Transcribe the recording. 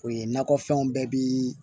O ye nakɔ fɛnw bɛɛ bi